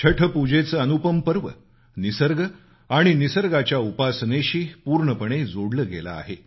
छठपूजेचं अनुपम पर्व निसर्ग आणि निसर्गाच्या उपासनेशी पूर्णपणे जोडलं गेलं आहे